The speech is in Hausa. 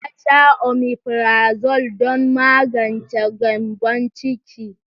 Ta sha omefrazole don magance gyambon ciki.